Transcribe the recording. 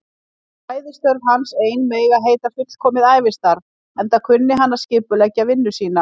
Fræðistörf hans ein mega heita fullkomið ævistarf, enda kunni hann að skipuleggja vinnu sína.